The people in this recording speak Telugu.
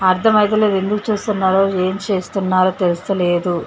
అర్థమైత లేదు ఎందుకు చేస్తున్నారో ఏం చేస్తున్నారో తెలుస్తలేదు .